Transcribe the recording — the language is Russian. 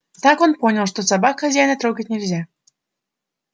так он понял что собак хозяина трогать нельзя